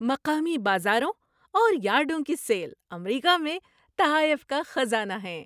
مقامی بازاروں اور یارڈوں کی سیل امریکہ میں تحائف کا خزانہ ہیں۔